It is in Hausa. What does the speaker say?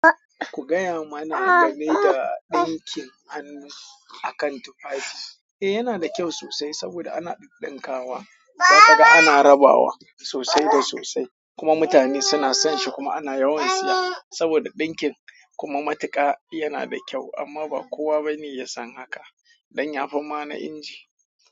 Ku gaya mana game da ɗinkin an yi a kan tufafi. Eh, yana da kyau sosai saboda ana ɗid ɗinkawa, saka ga ana rabawa sosai da sosai. Kuma mutane suna son shi kuma ana yawan siya saboda ɗinkin kuma matuƙa yana da kyau. Amma ba kowa bane ya san haka don ya fi mana inji.